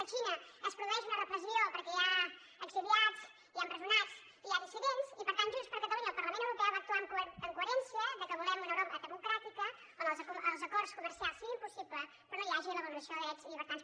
a xina es produeix una repressió perquè hi ha exiliats hi ha empresonats hi ha dissidents i per tant junts per catalunya al parlament europeu va actuar amb coherència que volem un europa democràtica on els acords comercials siguin possibles però no hi hagi la vulneració de drets i llibertats